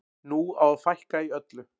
Nú á að fækka í öllu.